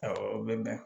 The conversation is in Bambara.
Awɔ o bɛ bɛn